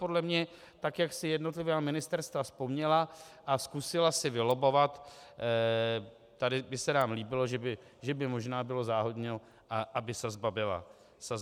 Podle mě tak, jak si jednotlivá ministerstva vzpomněla a zkusila si vylobbovat: tady by se nám líbilo, že by možná bylo záhodno, aby sazba byla vyšší.